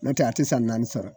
Nɔtɛ a te san naani sɔrɔ.